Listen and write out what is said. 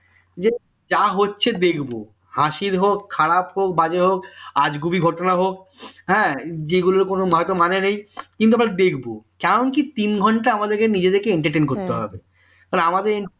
যে যা হচ্ছে দেখব হাসির হোক খারাপ হোক বাজে হোক আজগুবি ঘটনা হোক হ্যাঁ যেগুলো হয়তো কোন মানেই নেই কিন্তু আমরা দেখব কারণ কি তিন ঘন্টা আমাদেরকে নিজেদেরকে entertain করতে হবে তাহলে আমাদের